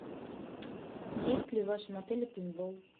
есть ли в вашем отеле пейнтбол